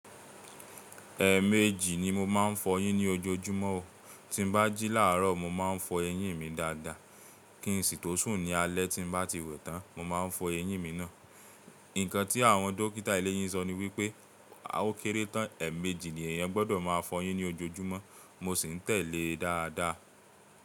Ẹẹ̀mẹ́jì ni mo máa ń fọyín ní ojoojúmọ́ o, tí n bá jí láàárọ̀ mo máa ń fọ eyín mi dáadáa, kí n sì tọ́ sún ní alẹ́ tí bá ti wẹ̀ tán, mo máa fọ eyín mi náà. Ǹkan tí àwọn dókítà eléyín sọ ni wípé, a ó kéré tán, ẹ̀ẹmẹjì ni èèyàn gbọdọ̀ máa fọyín ní ojoojúmọ́ mo sì ń tẹ̀lé e dáadáa.